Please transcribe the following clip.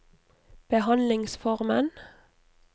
behandlingsformen